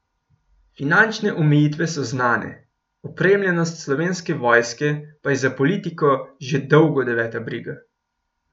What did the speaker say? Finančne omejitve so znane, opremljenost Slovenske vojske pa je za politiko že dolgo deveta briga.